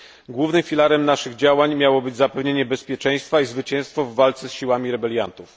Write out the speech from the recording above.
Głównym filarem naszych działań miało być zapewnienie bezpieczeństwa i zwycięstwo w walce z siłami rebeliantów.